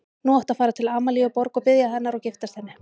Nú áttu að fara til Amalíu Borg og biðja hennar og giftast henni.